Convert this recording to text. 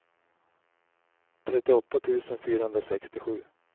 trettioåtta tusen fyrahundrasextiosju